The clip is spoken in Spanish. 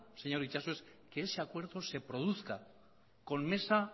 señor itxaso es que ese acuerdo se produzca con mesa